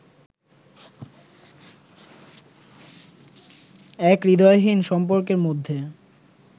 এক হূদয়হীন সম্পর্কের মধ্যে